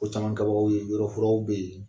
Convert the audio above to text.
O caman kɛbakaw ye .Yɔrɔo furanw be yen